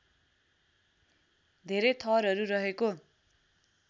धेरै थरहरू रहेको